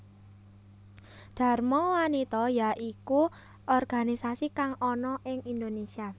Dharma wanita ya iku organisasi kang ana ing Indonesia